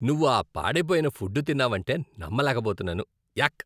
నువ్వు ఆ పాడై పోయిన ఫుడ్ తిన్నావంటే నమ్మలేకపోతున్నాను. యాక్!